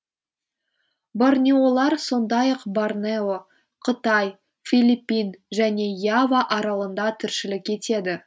борнеолар сондай ақ борнео қытай филиппин және ява аралында тіршілік етеді